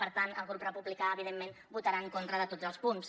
per tant el grup republicà evidentment votarà en contra de tots els punts